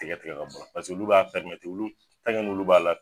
Tigɛ tigɛ k'a bɔ a la olu b'a n'olu b'ala